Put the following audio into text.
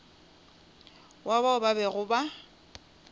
wa bao ba bego ba